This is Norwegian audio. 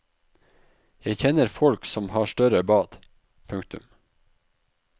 Jeg kjenner folk som har større bad. punktum